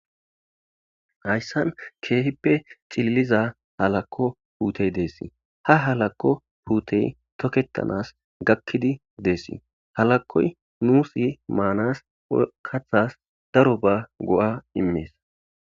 hayssan keehippe cililiza halakko puutey deessi ha halakko puutey toketanas gakkidi deessii halakoy nuusi maanas kathas daro ba go7a immees